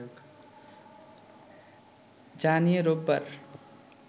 যা নিয়ে রোববার